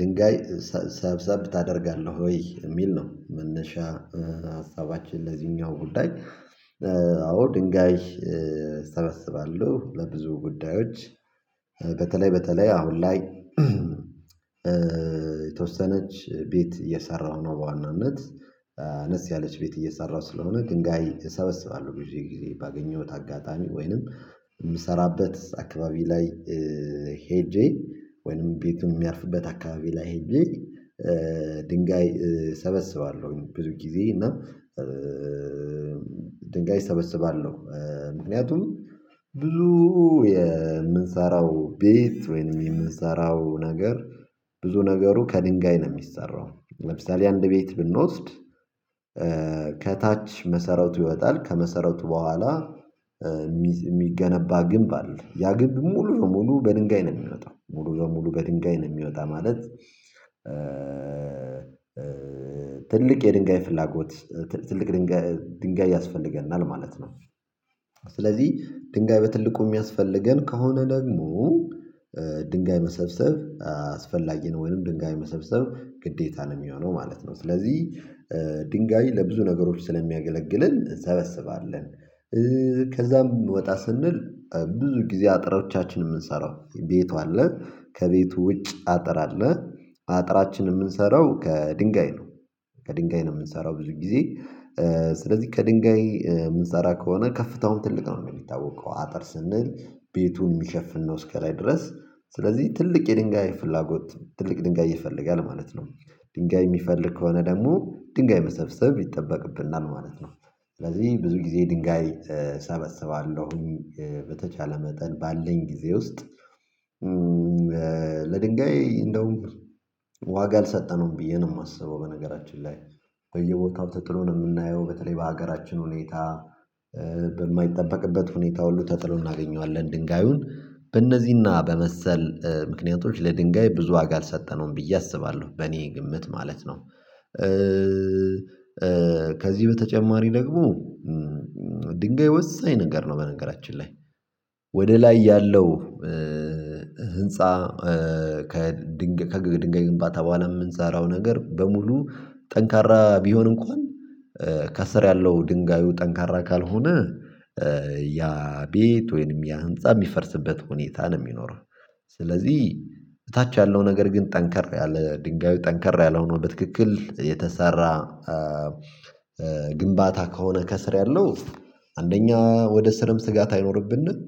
ድንጋይ ሰብሰብ ታደርጋለህ ወይ የሚል ነው? መነሻ ሀሳባችን ለዚህኛው ጉዳይ። አዎ ድንጋይ እሰበስባለሁ ለብዙ ጉዳዮች። በተለይ በተለይ አሁን ላይ የተወሰነች ቤት እየሰራሁ ነው። በዋናነት አነስ ያለች ቤት እየሰራሁ ስለሆነ ድንጋይ እሰበስባለሁ። ጊዜ ጊዜ ባገኘሁት አጋጣሚ ወይንም የምሰራበት አካባቢ ላይ ሄጄ ወይንም ቤቱን የሚያርፍበት አካባቢ ላይ ሄጄ ድንጋይ ሰበስባለሁኝ። ብዙ ጊዜ እና ድንጋይ እሰበስባለሁ ምክንያቱም ብዙ የምንሰራው ቤት ወይም የምንሰራው ነገር። ብዙ ነገሩ ከድንጋይ ነው የሚሰራው። ለምሳሌ አንድ ቤት ብንወስድ። ከታች መሰረቱ ይወጣል ከመሰረቱ በኋላ። የሚገነባ ግንብ አለ ያ ግንብ ሙሉ ለሙሉ በድንጋይ ነው የሚወጣው ሙሉ ለሙሉ በድንጋይ ነው የሚወጣው ማለት። ትልቅ የድንጋይ ፍላጎት ትልቅ ድንጋይ ያስፈልገናል ማለት ነው። ስለዚህ ድንጋይ በትልቁ የሚያስፈልገን ከሆነ ደግሞ ድንጋይ መሰብሰብ አስፈላጊ ነው። ወይም ድንጋይ መሰብሰብ ግዴታ ነው የሚሆነው ማለት ነው። ስለዚህ ድንጋይ ለብዙ ነገሮች ስለሚያገለግልን እንሰበስባለን። ከዛም ወጣ ስንል ብዙ ጊዜ አጥሮቻችን የምንሰራው ቤቱ አለ ከቤቱ ውጭ አጥር አለ አጥራችንን የምንሰራው ከድንጋይ ነው። ከድንጋይ ነው የምንሰራው ብዙ ጊዜ ስለዚህ ከድንጋይ ምንሰራ ከሆነ ከፍታውን ትልቅ ነው የሚታወቀው አጥር ስንል ቤቱን የሚሸፍን ነው እስከላይ ድረስ ስለዚህ ትልቅ የድንጋይ ፍላጎት ትልቅ ድንጋይ ይፈልጋል ማለት ነው። ድንጋይ የሚፈልግ ከሆነ ደግሞ ድንጋይ መሰብሰብ ይጠበቅብናል ማለት ነው። ስለዚህ ብዙ ጊዜ ድንጋይ እሰበስባለሁኝ በተቻለ መጠን ባለን ጊዜ ውስጥ። ለድንጋይ እንደውም ዋጋ አልሰጠነውም ብዬ ነው የማስበው። በነገራችን ላይ በየቦታው ተጥሎ ነው የምናየው በተለይ በሀገራችን ሁኔታ። በማይጠበቅበት ሁኔታ ሁሉ ተጥሎ እናገኘዋለን ድንጋዩን በእነዚህና በመሰል ምክንያቶች ለድንጋይ ብዙ ዋጋ አልሰጠነውም ብዬ አስባለሁ። በእኔ ግምት ማለት ነው። ከዚህ በተጨማሪ ደግሞ ድንጋይ ወሳኝ ነገር ነው። በነገራችን ላይ ወደ ላይ ያለው ህንፃ ከድንጋይ ግንባታ በኋላ የምንሰራው ነገር በሙሉ ጠንካራ ቢሆን እንኳን ከስር ያለው ድንጋዩ ጠንካራ ካልሆነ ያ ቤት ወይንም ያ ህንፃ የሚፈርስበት ሁኔታ ነው የሚኖረው። ስለዚህ በታች ያለው ነገር ግን ጠንከር ያለ ድንጋዩ ጠንከር ያለ ሆኖ በትክክል የተሰራ። ግንባታ ከሆነ ከስር ያለው አንደኛ ወደ ስርም ስጋት አይኖርብንም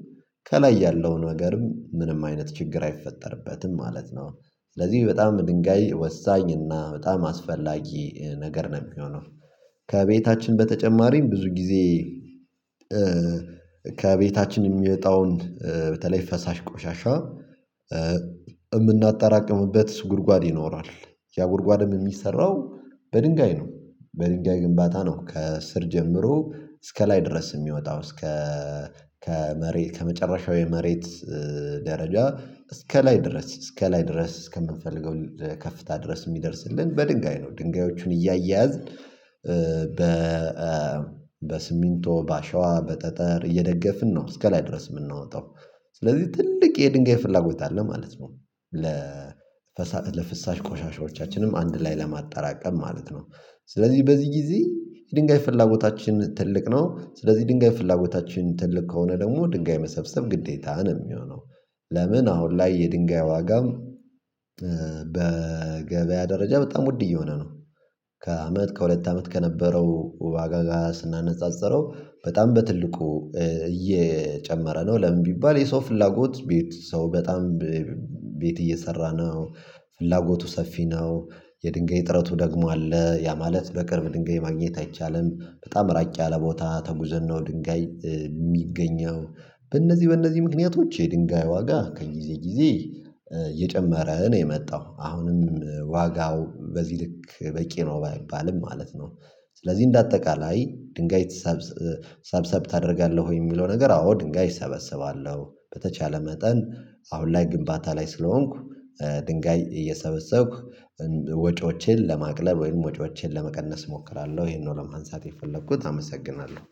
ከላይ ያለውን ነገርም ምንም አይነት ችግር አይፈጠርበትም ማለት ነው። ስለዚህ በጣም ድንጋይ ወሳኝ እና በጣም አስፈላጊ ነገር ነው የሚሆነው። ከቤታችን በተጨማሪ ብዙ ጊዜ። ከቤታችን የሚወጣውን በተለይ ፈሳሽ ቆሻሻ የምናጠራቅምበት ጉድጓድ ይኖራል። ያ ጉድጓድም የሚሰራው በድንጋይ ነው። በድንጋይ ግንባታ ነው ከስር ጀምሮ እስከ ላይ ድረስ የሚወጣው እስከ ከመሬት ከመጨረሻው የመሬት ደረጃ እስከ ላይ ድረስ እስከ ላይ ድረስ እስከምንፈልገው ከፍታ ድረስ የሚደርስልን በድንጋይ ነው ድንጋዮቹን እያያዝን በ በሰሚንቶ በአሸዋ በጠጠር እየደገፍን ነው እስከላይ ድረስ የምናወጣው። ስለዚህ ትልቅ የድንጋይ ፍላጎት አለ ማለት ነው። ለፍሳሽ ቆሻሻዎቻችንም አንድ ላይ ለማጣራቀም ማለት ነው። ስለዚህ በዚህ ጊዜ የድንጋይ ፍላጎታችን ትልቅ ነው ስለዚህ የድንጋይ ፍላጎታችን ትልቅ ከሆነ ደግሞ ድንጋይ መሰብሰብ ግዴታ ነው የሚሆነው። ለምን? አሁን ላይ የድንጋይ ዋጋም በገበያ ደረጃ በጣም ውድ እየሆነ ነው። ከአመት ከሁለት አመት ከነበረው ዋጋጋ ስናነጻጽረው በጣም በትልቁ እየጨመረ ነው። ለምን ቢባል የሰው ፍላጎት ቤት ሰው በጣም ቤት እየሰራ ነው። ፍላጎቱ ሰፊ ነው። የድንጋይ እጥረቱ ደግሞ አለ ያ ማለት በቅርብ ድንጋይ ማግኘት አይቻልም በጣም ራጭ ያለ ቦታ ተጉዘን ነው ድንጋይ የሚገኘው። በእነዚህ በእነዚህ ምክንያቶች የድንጋይ ዋጋ ከጊዜ ጊዜ እየጨመረ ነው የመጣው አሁንም ዋጋው በዚህ ልክ በቂ ነው ባይባልም ማለት ነው። ስለዚህ እንደ አጠቃላይ ድንጋይ ሰብሰብ ታደርጋለህ ወይ የሚለው? ነገር አዎ ድንጋይ እሰበስባለሁ በተቻለ መጠን አሁን ላይ ግንባታ ላይ ስለሆንኩ ድንጋይ እየሰበሰብኩ ወጪዎቼን ለማቅለብ ወይም ወጪዎችን ለመቀነስ እሞክራለሁ ይሄንን ለማንሳት የፈለኩት አመሰግናለሁ